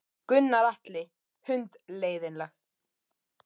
Gunnar Atli: Hundleiðinleg?